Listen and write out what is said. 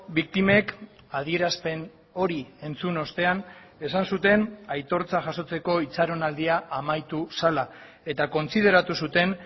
biktimek adierazpen hori entzun ostean esan zuten aitortza jasotzeko itxaronaldia amaitu zela eta kontsideratu zuten